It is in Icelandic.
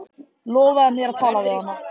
Lofaðu mér að tala við hana.